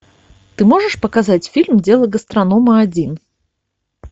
ты можешь показать фильм дело гастронома один